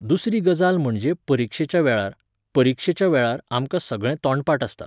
दुसरी गजाल म्हणजे परिक्षेच्या वेळार, परिक्षेच्या वेळार, आमकां सगळें तोंडपाठ आसता.